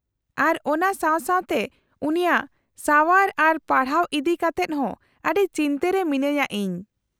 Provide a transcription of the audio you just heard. -ᱟᱨ ᱚᱱᱟ ᱥᱟᱶ ᱥᱟᱶᱛᱮ ᱩᱱᱤᱭᱟᱜ ᱥᱟᱶᱟᱨ ᱟᱨ ᱯᱟᱲᱦᱟᱣ ᱤᱫᱤ ᱠᱟᱛᱮᱫ ᱦᱚᱸ ᱟᱹᱰᱤ ᱪᱤᱱᱛᱟᱹ ᱨᱮ ᱢᱤᱱᱟᱹᱧᱼᱟ ᱤᱧ ᱾